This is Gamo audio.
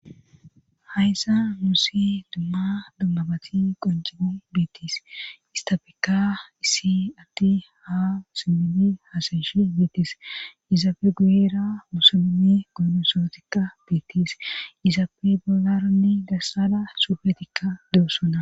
hayssan nuusi dumma dummabati qoncen beettes istafeka issi atti ha summili hasaishi biitis izaafe guyera musolimi gudusootikka biittis izaape dogaranni gassada suufe tikka dossona